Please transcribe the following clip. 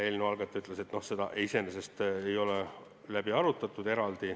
Eelnõu algataja ütles, et seda ei ole eraldi arutatud.